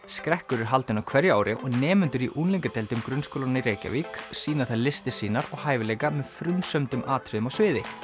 skrekkur er haldinn á hverju ári og nemendur í unglingadeildum grunnskólanna í Reykjavík sýna þar listir sínar og hæfileika með frumsömdum atriðum á sviði